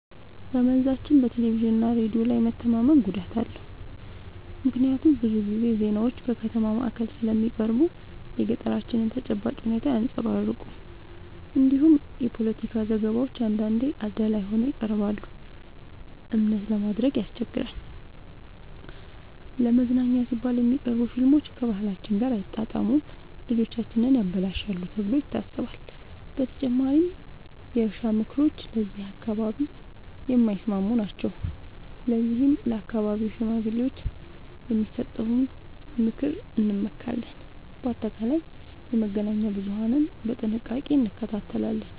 በመንዛችን በቴሌቪዥንና ሬዲዮ ላይ መተማመን ጉዳት አለው፤ ምክንያቱም ብዙ ጊዜ ዜናዎች ከከተማ ማዕከል ስለሚቀርቡ የገጠራችንን ተጨባጭ ሁኔታ አያንጸባርቁም። እንዲሁም የፖለቲካ ዘገባዎች አንዳንዴ አዳላይ ሆነው ይቀርባሉ፤ እምነት ለማድረግ ያስቸግራል። ለመዝናኛ ሲባል የሚቀርቡ ፊልሞች ከባህላችን ጋር አይጣጣሙም፣ ልጆቻችንን ያበላሻሉ ተብሎ ይታሰባል። በተጨማሪም የእርሻ ምክሮች ለዚህ አካባቢ የማይስማሙ ናቸው፤ ለዚህም በአካባቢው ሽማግሌዎች የሚሰጠውን ምክር እንመካለን። በአጠቃላይ የመገናኛ ብዙሀንን በጥንቃቄ እንከታተላለን።